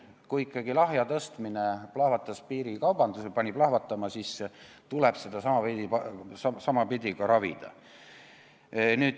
Kui ikkagi lahja alkoholi aktsiisi tõstmine pani piirikaubanduse lahvatama, siis tuleb seda samapidi ka ravida.